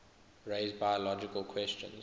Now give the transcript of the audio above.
raise biological questions